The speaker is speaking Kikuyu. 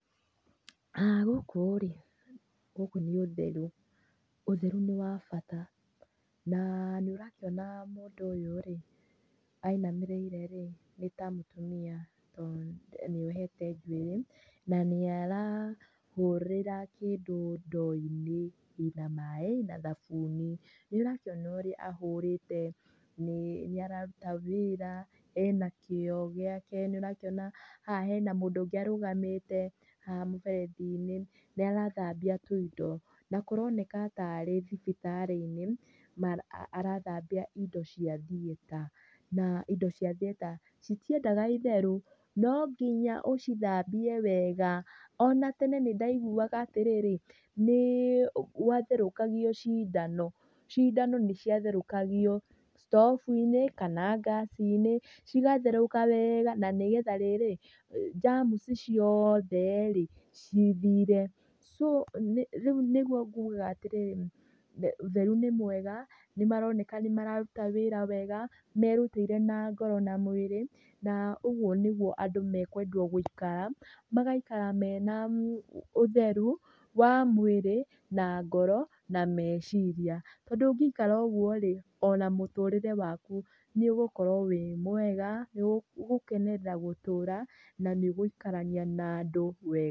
Gũkũ rĩ, gũkũ nĩ ũtheru, ũtheru nĩ wa bata. Na nĩ ũrakĩona mũndũ ũyũ rĩ ainamĩrĩire rĩ nĩ ta mũtumia tondũ nĩohete njuĩrĩ, na nĩ arahũrĩra kĩndũ ndoo-inĩ ĩna maĩ na thabuni. Nĩ ũrakĩona ũrĩa ahũrĩte, nĩ araruta wĩra, ena kĩo gĩake, nĩ ũrakĩona haha hena mũndũ ũngĩ arũgamĩte haha mũberethi-inĩ nĩarathambia tũindo. Na kũroneka tarĩ thibitarĩ-inĩ arathambia indo cia theater. Na indo cia theater citiendaga itherũ no nginya ũcithambie wega. Ona tene nĩ ndaiguaga atĩrĩrĩ, nĩ gũatherũkagio cindano cindano nĩciatherukagio thitobu-inĩ kana gasi-inĩ cigatherũka wega na nĩgetha rĩrĩ germs ciothe rĩ cithire. Rĩu nĩguo ngugaga atĩrĩrĩ ũtheru nĩ mwega, nĩ maroneka nĩ mararuta wĩra wega, merutĩire na ngoro na mwĩrĩ. Na ũguo nĩguo andũ mekwendwo gũikara magaikara mena ũtheru wa mwĩrĩ na ngoro na meciria. Tondũ ũngĩikara ũguo rĩ ona mũtũrĩre waku nĩ ũgũikara wĩ mwega, nĩ ũgũkenerera gũtũra, na nĩ ũgũikarania na andũ wega.